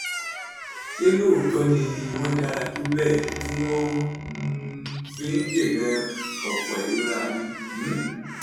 ṣé lóòótọ́ ni wọ́n dára tó bẹ́ẹ̀ tí wọ́n um fi ń dènà ọ̀pọ̀ ìrora mi? um